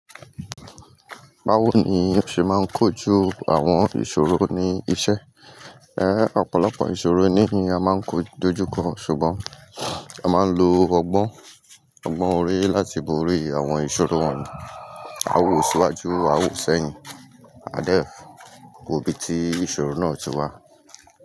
Bawo ni o ṣe maa n kojú àwon ìsòro ni isẹ? Eh, ọ̀pọ̀lọpọ̀ ìṣòro níì yin a maa n dojú kọ ṣùgbọ́n a máa ń lo ọgbọ́n, ọgbọ́n orí láti borí àwọn ìṣòro wọ̀nyí. Awò síwájú, awò sẹ́yìn, adẹ́kùn, òbí tí ìṣòro náà ti wá.